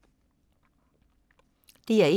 DR1